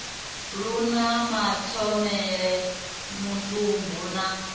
lu na mathomele mutumbu na